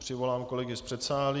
Přivolám kolegy z předsálí.